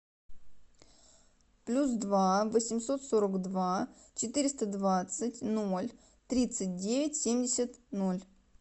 плюс два восемьсот сорок два четыреста двадцать ноль тридцать девять семьдесят ноль